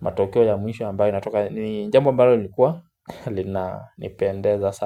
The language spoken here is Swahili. matokeo ya mwisho ambayo inatoka ni jambo ambalo lilikua lina nipendeza sama.